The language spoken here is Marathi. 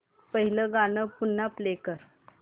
पहिलं गाणं पुन्हा प्ले कर